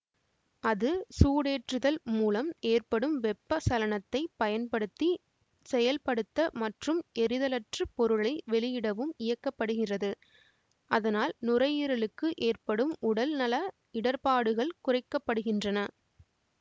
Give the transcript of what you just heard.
அது சூடேற்றுதல் மூலம் ஏற்படும் வெப்ப சலனத்தைப் பயன்படுத்தி செயல்படுத்த மற்றும் எரிதலற்று பொருளை வெளியிடவும் இயக்க படுகிறது அதனால் நுரையீரலுக்கு ஏற்படும் உடல் நல இடர்பாடுகள் குறைக்க படுகின்றன